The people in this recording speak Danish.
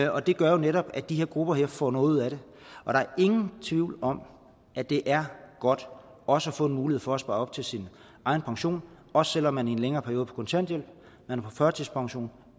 og det gør jo netop at de her grupper får noget ud af det og der er ingen tvivl om at det er godt også at få en mulighed for at spare op til sin egen pension også selv om man i en længere periode er på kontanthjælp førtidspension